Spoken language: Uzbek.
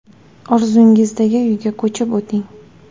Orzungizdagi uyga ko‘chib o‘ting!